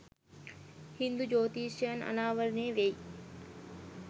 හින්දු ඡ්‍යොතිෂ්‍යයෙන් අනාවරණය වෙයි.